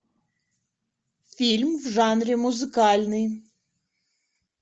фильм в жанре музыкальный